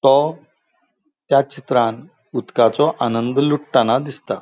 तो त्या चित्रान उदकाचो आनंद लुटटाना दिसता.